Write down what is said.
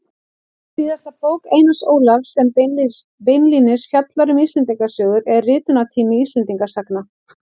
Síðasta bók Einars Ólafs sem beinlínis fjallar um Íslendingasögur er Ritunartími Íslendingasagna.